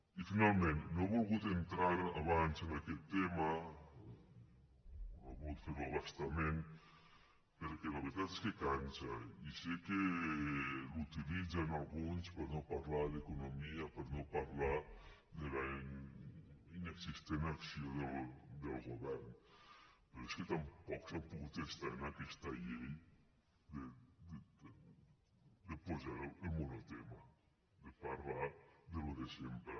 i finalment no he volgut entrar abans en aquest tema o no he volgut fer ho a bastament perquè la veritat és que cansa i sé que l’utilitzen alguns per no parlar d’economia per no parlar de la inexistent acció del govern però és que tampoc s’han pogut estar en aquesta llei de posar el monotema de parlar del de sempre